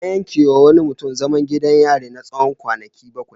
An yankewa wani mutum zaman gidan yari na tsawon kwanaki bakwai.